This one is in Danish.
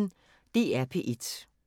DR P1